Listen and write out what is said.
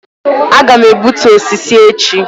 Aga m egbutu osisi echi